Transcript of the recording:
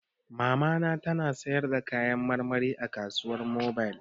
Mamata ta na sayarda kayan marmari a kasuwar mobil